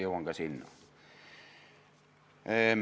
Jõuan ka sinna.